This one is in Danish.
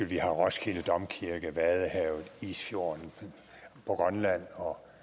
vi har roskilde domkirke vadehavet isfjorden på grønland